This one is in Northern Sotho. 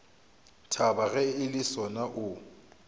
thaba ge le sona o